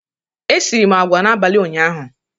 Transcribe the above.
Esiri m agwa n'abalị ụnyaahụ.